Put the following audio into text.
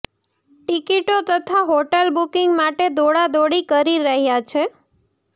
ટીકીટો તથા hotel booking માટે દોડાદોડી કરી રહયા છે